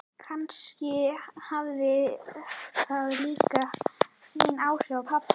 Kannski hafði það líka sín áhrif á pabba.